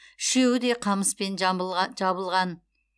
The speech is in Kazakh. үшеуі де қамыспен жабылған